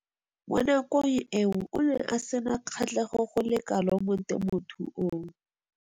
Mo nakong eo o ne a sena kgatlhego go le kalo mo temothuong.